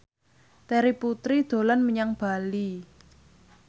Terry Putri dolan menyang Bali